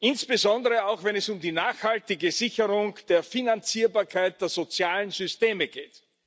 insbesondere auch, wenn es um die nachhaltige Sicherung der Finanzierbarkeit der sozialen Systeme geht.